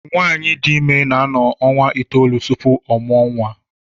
Nwaanyị dị ime na-anọ ọnwa itoolu tupu ọ mụọ nwa.